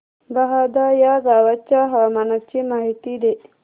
बहादा या गावाच्या हवामानाची माहिती दे